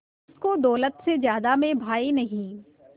जिसको दौलत से ज्यादा मैं भाई नहीं